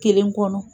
Kelen kɔnɔ